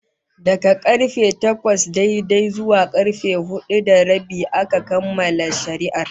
Daga karfe takwas daidai zuwa karfe hudu da rabi aka kammala shari'ar